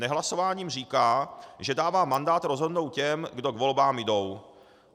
Nehlasováním říká, že dává mandát rozhodnout těm, kdo k volbám jdou.